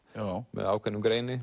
með ákveðnum greini